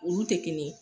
Olu tɛ kelen ye